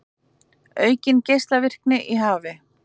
Aukin geislavirkni í hafi